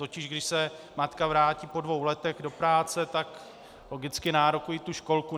Totiž když se matka vrátí po dvou letech do práce, tak logicky nárokuje tu školku.